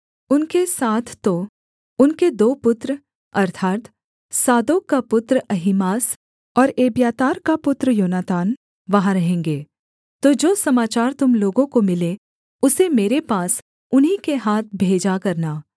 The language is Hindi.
उनके साथ तो उनके दो पुत्र अर्थात् सादोक का पुत्र अहीमास और एब्यातार का पुत्र योनातान वहाँ रहेंगे तो जो समाचार तुम लोगों को मिले उसे मेरे पास उन्हीं के हाथ भेजा करना